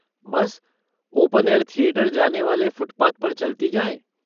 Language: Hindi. बस ओपन एयर थिएटर जाने वाले फ़ुटपाथ पर चलती जाएँ।